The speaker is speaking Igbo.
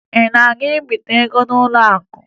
Ị na-ebite ego n'ụlọakụ?